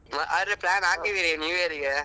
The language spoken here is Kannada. ಹಾಗಾದ್ರೆ plan ಹಾಕಿದ್ದೀರಿ new year ಗೆ.